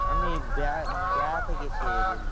আমি বেড়াতে মানে বেড়াতে গেছে বললো।